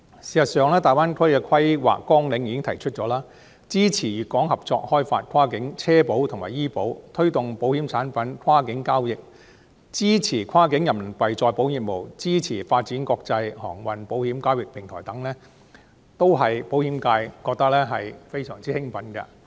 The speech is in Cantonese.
事實上，《粵港澳大灣區發展規劃綱要》已經提出要支持粵港合作開發跨境汽車保險和醫療保險、推動保險產品跨境交易、支持跨境人民幣再保險業務、支持發展國際航運保險交易平台等，都令保險界非常興奮。